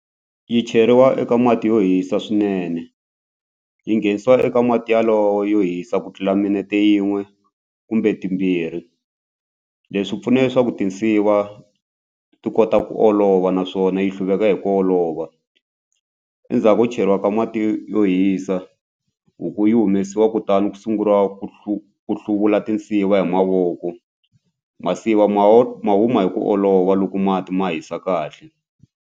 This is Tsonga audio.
Yi cheriwa eka mati yo hisa swinene yi nghenisiwa eka mati yalowo yo hisa ku tlula minete yin'we kumbe timbirhi leswi pfuna leswaku tinsiva ti kota ku olova naswona yi hluveka hi ku olova endzhaku ko cheriwa ka mati yo hisa huku yi humesiwa kutani ku sunguriwa ku ku hluvula tinsiva hi mavoko masiva ma ho ma huma hi ku olova loko mati ma hisa kahle.